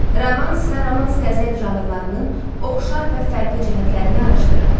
Romans və romans qəzəl janrlarının oxşar və fərqli cəhətlərini araşdırın.